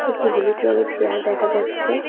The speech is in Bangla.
একটি হলুদ রঙের চেয়ার দেখা যাচ্ছে।